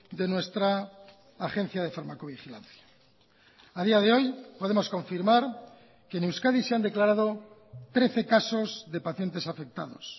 de nuestra agencia de farmacovigilancia a día de hoy podemos confirmar que en euskadi se han declarado trece casos de pacientes afectados